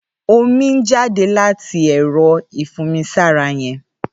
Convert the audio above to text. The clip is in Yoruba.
Ómi n jàdé làtí ẹrọ ifùnmisàrá yèn